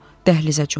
O dəhlizə cumdu.